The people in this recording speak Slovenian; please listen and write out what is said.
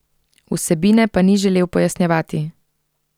Vsebine pa ni želel pojasnjevati.